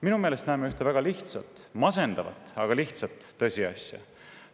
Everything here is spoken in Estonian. Minu meelest näeme ühte väga masendavat, aga lihtsat tõsiasja.